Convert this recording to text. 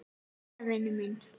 Jæja, vinur minn.